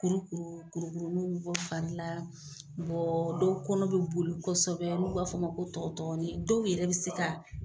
Kurukuru kurukurununw bɔ fari la, bɔɔ dɔw kɔnɔ be boli kosɛbɛ n'u b'a f'ɔ ma ko tɔgɔtɔgɔni dɔw yɛrɛ bi se ka